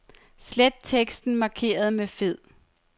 Slet teksten markeret med fed.